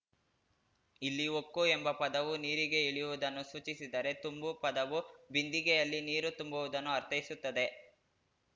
ಇಲ್ಲಿ ಹೊಕ್ಕು ಎಂಬ ಪದವು ನೀರಿಗೆ ಇಳಿಯುವುದನ್ನು ಸೂಚಿಸಿದರೆ ತುಂಬು ಪದವು ಬಿಂದಿಗೆಯಲ್ಲಿ ನೀರುತುಂಬುವುದನ್ನುಅರ್ಥೈಸುತ್ತದೆ